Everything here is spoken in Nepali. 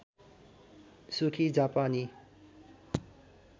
सुखी जापानी